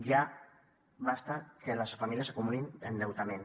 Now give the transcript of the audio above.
ja prou que les famílies acumulin endeutament